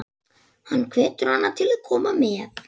Hann hvetur hana til að koma með.